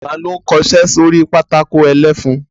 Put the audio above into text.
Ta ló ń kọṣẹ́ sórí pátákó ẹlẹ́fun?